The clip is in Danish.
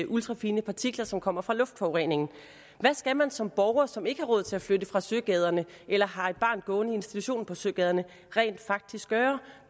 ultrafine partikler som kommer fra luftforureningen hvad skal man som borger som ikke har råd til at flytte fra søgaderne eller har et barn gående i en institution i søgaderne rent faktisk gøre